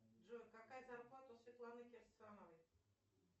джой какая зарплата у светланы кирсановой